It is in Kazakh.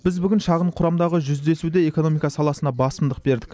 біз бүгін шағын құрамдағы жүздесуде экономика саласына басымдық бердік